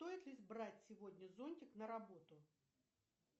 стоит ли брать сегодня зонтик на работу